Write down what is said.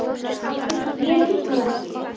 Við getum það ekki.